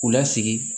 U lasigi